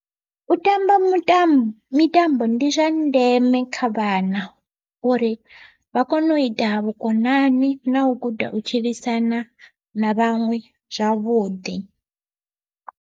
U tamba mutambo mitambo ndi zwa ndeme kha vhana, uri vha kone u ita vhukonani na u guda u tshilisana na vhaṅwe zwavhuḓi.